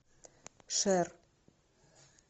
шер